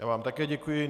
Já vám také děkuji.